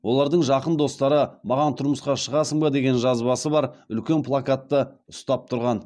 олардың жақын достары маған тұрмысқа шығасың ба деген жазбасы бар үлкен плакатты ұстап тұрған